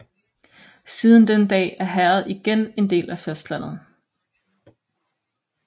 Siden den dag er herredet igen en del af fastlandet